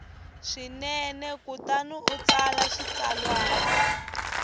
swinene kutani u tsala xitsalwana